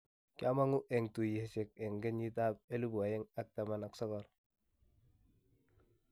kiamangu en tuiyosiek en kenyiit ap 2019